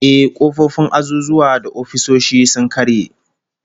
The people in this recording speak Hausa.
Ehh, kofofin azuzuwa da ofisoshi sun karye